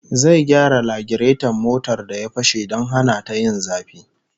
Zai gyara lagireton motar da ya fashe don hana ta yin zafi